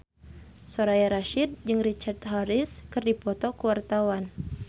Soraya Rasyid jeung Richard Harris keur dipoto ku wartawan